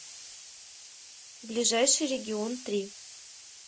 ближайший регион три